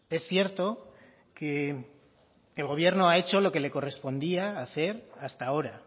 es cierto que el gobierno ha hecho lo que le correspondía hacer hasta ahora